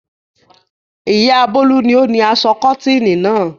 Ìyá Bólú ni ó ni aṣọ kọ́tíìnì náà.